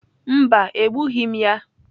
Mba, egbughị m ya.